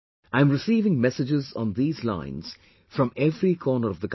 I am receiving messages on these lines from every corner of the country